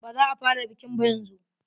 Baza a fara bikin ba yanzu.